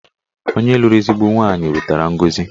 Onye lụrụ ezigbo nwaanyị wetara ngọzi